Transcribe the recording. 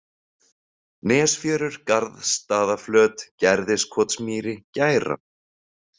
Nesfjörur, Garðsstaðaflöt, Gerðiskotsmýri, Gæra